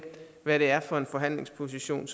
hvad det er for en forhandlingsposition